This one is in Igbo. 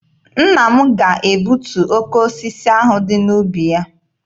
Nna m ga-egbutu oke osisi ahụ dị n'ubi ya.